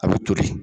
A bɛ toli